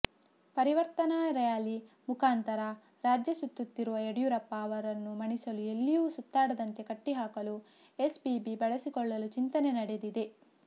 ಪರಿವರ್ತನಾ ರ್ಯಾಲಿ ಮುಖಾಂತರ ರಾಜ್ಯ ಸುತ್ತುತ್ತಿರುವ ಯಡಿಯೂರಪ್ಪ ಅವರನ್ನು ಮಣಿಸಲು ಎಲ್ಲಿಯೂ ಸುತ್ತಾಡದಂತೆ ಕಟ್ಟಿಹಾಕಲು ಎಸಿಬಿ ಬಳಸಿಕೊಳ್ಳಲು ಚಿಂತನೆ ನಡೆದಿದೆ